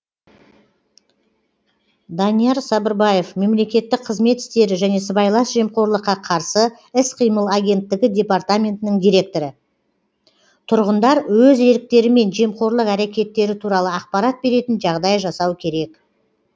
данияр сабырбаев мемлекеттік қызмет істері және сыбайлас жемқорлыққа қарсы іс қимыл агенттігі департаментінің директоры тұрғындар өз еріктерімен жемқорлық әрекеттері туралы ақпарат беретін жағдай жасау керек